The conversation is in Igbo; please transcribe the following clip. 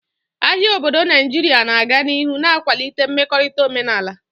Ahịa obodo Naijiria na-aga n'ihu na-akwalite mmekorita omenala.